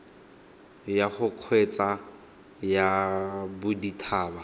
ya go kgweetsa ya bodithaba